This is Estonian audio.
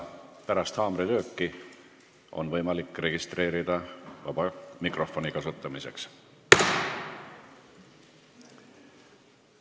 Pärast haamrilööki on võimalik registreeruda vaba mikrofoni kasutamiseks.